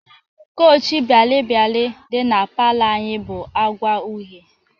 Kawch bialịbịalị dị na palọ anyị bụ agwa uhe.